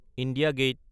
India gate